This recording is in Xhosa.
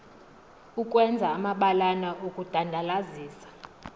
ukwenza amabalana okudandalazisa